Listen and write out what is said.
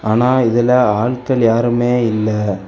ஆனா இதுல ஆள்கள் யாருமே இல்ல.